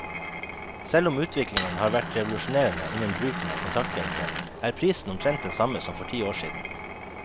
Selv om utviklingen har vært revolusjonerende innen bruken av kontaktlinser, er prisen omtrent den samme som for ti år siden.